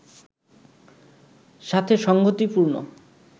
সাথে সঙ্গতিপূর্ণ